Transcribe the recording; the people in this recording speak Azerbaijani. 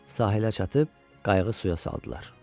Sahilə çatıb qayığı suya saldılar.